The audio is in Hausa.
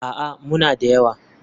A'a, muna da yawa.